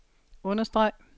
understreg